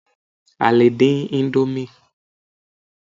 a lè dín Indomie